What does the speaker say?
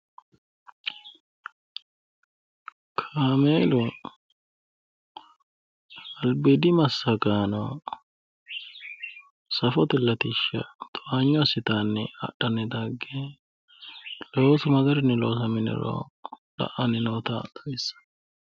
Kaamelunni safote latishsha towaanyo assittanni dage loosu magarinni loosamani no ytanotta la"ani no